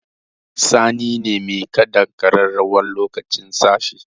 Sani ne mai kaɗa ƙararrawar lokacin tashi